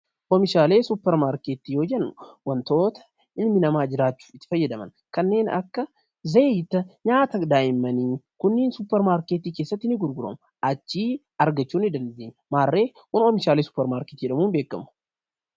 Kun meeshaalee suupermaarkeetii yoo jedhu, waantoota ilmi namaa jiraachuuf itti fayyadaman kanneen akka zayita, nyaata daa'immanii kunniin suupermaarkeetii keessatti ni gurguramu. Achii argachuu ni dandeenya maarree oomishaalee suupermaarkeetii jedhamuun beekamu.